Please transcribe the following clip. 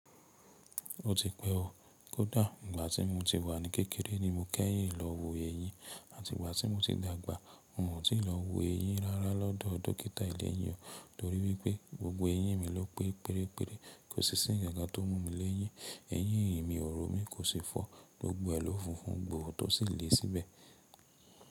Ó ti pẹ́ o. Kódà ìgbà tí mo ti wà ní kékeré ni mo kẹ́yìn lọ wo eyín àti ìgbà tí mo ti dàgbà mo wọ́n sì lọ wo eyín rárá lọ́dọ̀ dókítà ilé eyín o. Torí wípé gbogbo eyín mi lọ pé péré péré, kò sì sí ǹkan tó mú mi léyín. Eyín mi òro mi kò sì fọ́, gbogbo ẹ lọ funfun gbòò tó sì le síbẹ̀.